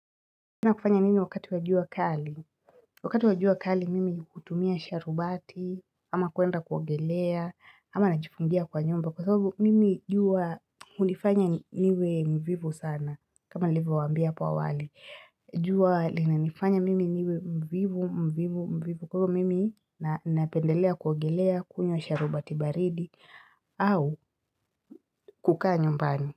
Kufanya nini wakati wajua kali? Wakati waj ua kali mimi hutumia sharubati, ama kuenda kuongelea, ama najifungia kwa nyumba. Kwa sababu mimi jua hunifanya niwe mvivu sana. Kama nilivyo waambia hapa awali. Jua linanifanya mimi niwe mvivu, mvivu, mvivu. Kwa hivo mimi napendelea kuogelea kunywa sharubati baridi au kukaa nyumbani.